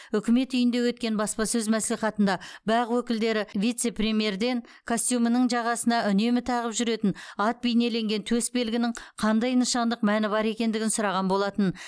үкімет үйінде өткен баспасөз мәслихатында бақ өкілдері вице премьерден костюмінің жағасына үнемі тағып жүретін ат бейнеленген төс белгінің қандай нышандық мәні бар екендігін сұраған болатын